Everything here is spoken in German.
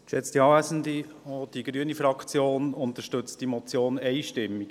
Auch die grüne Fraktion unterstützt diese Motion einstimmig.